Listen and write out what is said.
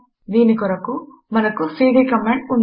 దీని కొరకు మనకు సీడీ కమాండ్ ఉంది